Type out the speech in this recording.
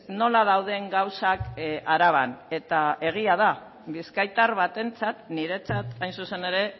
nola dauden gauzak araban eta egia da bizkaitar batentzat niretzat hain zuzen ere